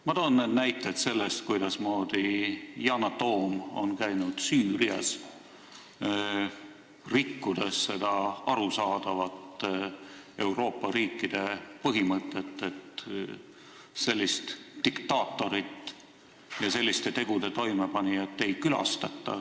Ma toon näite selle kohta, et Yana Toom on käinud Süürias, rikkudes arusaadavat Euroopa riikide põhimõtet, et sellist diktaatorit ja selliste tegude toimepanijat ei külastata.